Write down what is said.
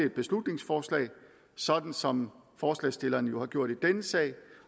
et beslutningsforslag sådan som forslagsstillerne jo har gjort i denne sag